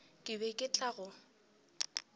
ke be ke tla go